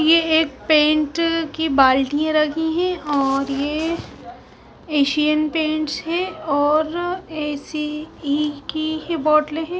यह एक पेंट की बाल्टियां रखी है और यह एशियन पेंट्स है और देसी घी की बौटले है।